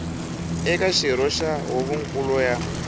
eka xirho xa huvonkulu ya